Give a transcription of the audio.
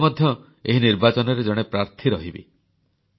ମୁଁ ନିଜେ ମଧ୍ୟ ଏହି ନିର୍ବାଚନରେ ଜଣେ ପ୍ରାର୍ଥୀ ରହିବି